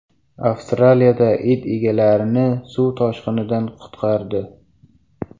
Avstraliyada it egalarini suv toshqinidan qutqardi.